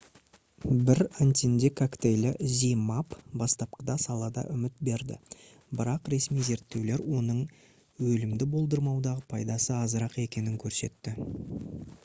бір антидене коктейлі zmapp бастапқыда салада үміт берді бірақ ресми зерттеулер оның өлімді болдырмаудағы пайдасы азырақ екенін көрсетті